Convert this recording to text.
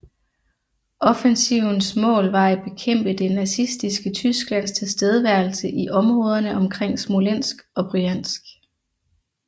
Offentsivens mål var at bekæmpe det nazistiske Tysklands tilstedeværelse i områderne omkring Smolensk og Bryansk